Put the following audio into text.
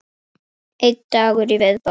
Einn dagur í viðbót!